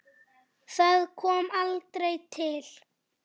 Það kom aldrei til.